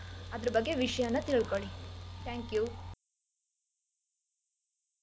Books ನ ಹುಡ್ಕಿ ಅದ್ರ್ ಬಗ್ಗೆ ವಿಷ್ಯಾನ ತಿಳ್ಕೊಳ್ಳಿ. Thank you.